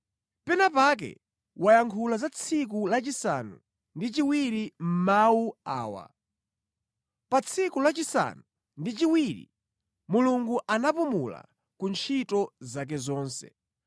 Pena pake wayankhula za tsiku lachisanu ndi chiwiri mʼmawu awa: “Pa tsiku lachisanu ndi chiwiri, Mulungu anapumula ku ntchito zake zonse.”